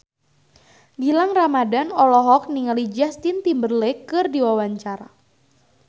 Gilang Ramadan olohok ningali Justin Timberlake keur diwawancara